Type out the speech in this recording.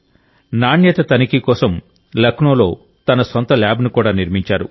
నాణ్యత తనిఖీ కోసం లక్నోలో తన సొంత ల్యాబ్ను కూడా నిర్మించారు